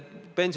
Aitäh!